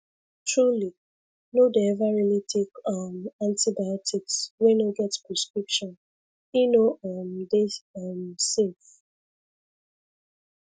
truly no dey ever really take um antibiotics wey no get prescription e no um dey um safe